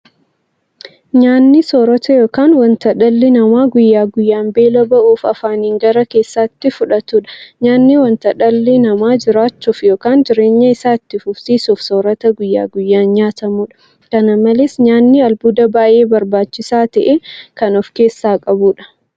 Nyaanni soorota yookiin wanta dhalli namaa guyyaa guyyaan beela ba'uuf afaaniin gara keessaatti fudhatudha. Nyaanni wanta dhalli namaa jiraachuuf yookiin jireenya isaa itti fufsiisuuf soorata guyyaa guyyaan nyaatamudha. Kana malees nyaanni albuuda baay'ee barbaachisaa ta'e kan ofkeessaa qabudha.